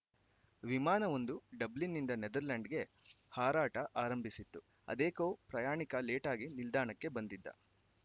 ವಿಮಾನವೊಂದು ಡಬ್ಲಿನ್‌ನಿಂದ ನೆದರ್ಲೆಂಡ್‌ಗೆ ಹಾರಾಟ ಆರಂಭಿಸಿತ್ತು ಅದೇಕೋ ಪ್ರಯಾಣಿಕ ಲೇಟಾಗಿ ನಿಲ್ದಾಣಕ್ಕೆ ಬಂದಿದ್ದ